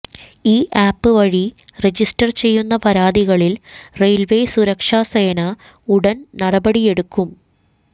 ഈ ആപ്പ് വഴി റജിസ്റ്റർ ചെയ്യുന്ന പരാതികളിൽ റെയിൽവേ സുരക്ഷ സേനാ ഉടൻ നടപടിയെടുക്കും